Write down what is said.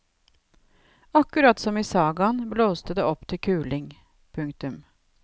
Akkurat som i sagaen blåste det opp til kuling. punktum